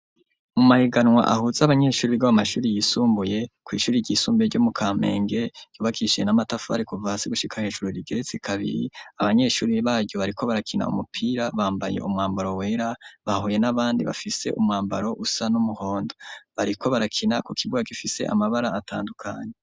Mu mahiganwa ahuza abanyeshuri bo mu mashuri yisumbuye kw' ishuri ry' isumbuye ryo mu Kamenge, ryubakishije n' amafari kuva hasi gushika hejuru rigeretse kabiri, abanyeshuri baryo bariko barakina umupira bambaye umwambaro wera, bahuye n' abandi bambaye impuzu zisa n' umuhondo. Bariko barakina ku kibuga gifise amabara atandukanye.